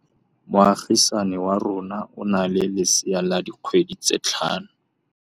Moagisane wa rona o na le lesea la dikgwedi tse tlhano.